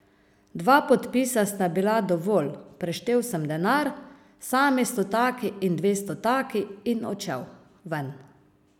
Dva podpisa sta bila dovolj, preštel sem denar, sami stotaki in dvestotaki, in odšel ven.